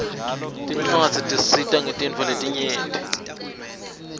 tincuadzi tisisita ngetintfo letinyenti